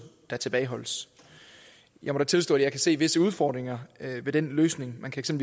der tilbageholdes jeg må da tilstå at jeg kan se visse udfordringer ved den løsning man kan